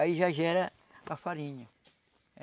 Aí já gera a farinha.